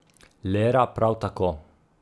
Lera prav tako.